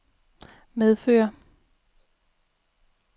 medfører